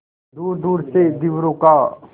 दूरदूर से धीवरों का